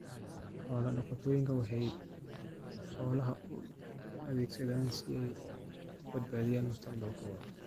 Xoolo-dhaqatodu waxay xoolaha u adeegsadaan si ay u badbaadiyaan mustaqbalka.